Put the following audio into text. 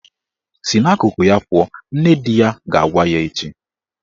"Si n'akụkụ ya pụọ " Nne di ya ga-agwa ya echi